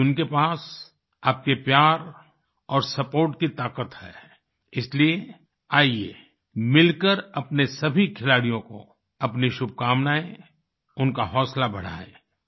आज उनके पास आपके प्यार और सपोर्ट की ताकत है इसलिए आइए मिलकर अपने सभी खिलाड़ियों को अपनी शुभकामनाएँ उनका हौसला बढ़ाएँ